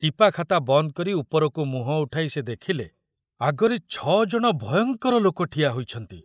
ଟିପାଖାତା ବନ୍ଦ କରି ଉପରକୁ ମୁହଁ ଉଠାଇ ସେ ଦେଖିଲେ, ଆଗରେ ଛ ଜଣ ଭୟଙ୍କର ଲୋକ ଠିଆ ହୋଇଛନ୍ତି।